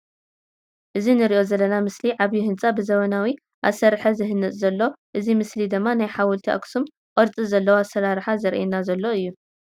እዚ ንርኦ ዘለና ምሰሊ ዓብይ ህንፃ ብዘመናዊ አሰርሐ ዝህነፅ ዘሎ እዮ ። እዚ ምሰሊ ድማ ናይ ሐወልቲ አክሱም ቅርፅ ዘለዎ አሰራርሐ ዘረእየና ዘሎ እዮ ።